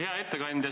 Hea ettekandja!